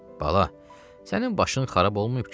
Bala, sənin başın xarab olmayıb ki?